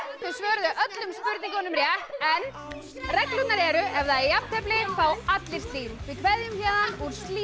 þau svöruðu öllum spurningunum rétt en reglurnar eru ef það er jafntefli fá allir slím